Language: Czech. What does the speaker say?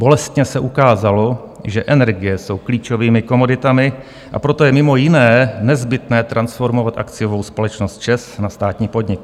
Bolestně se ukázalo, že energie jsou klíčovými komoditami, a proto je mimo jiné nezbytné transformovat akciovou společnost ČEZ na státní podnik.